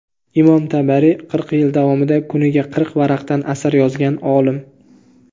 Imom Tabariy: Qirq yil davomida kuniga qirq varaqdan asar yozgan olim.